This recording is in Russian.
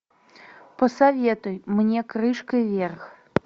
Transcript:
посоветуй мне крышкой вверх